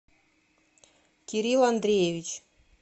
кирилл андреевич